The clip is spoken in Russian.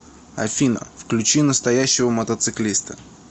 афина включи настоящего мотоциклиста